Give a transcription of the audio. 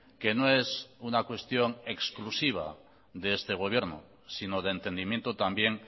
que no es una cuestión exclusiva de este gobierno sino de entendimiento también